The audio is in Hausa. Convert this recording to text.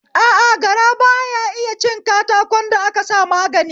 A a, gara baya iya cin katakon da aka sa magani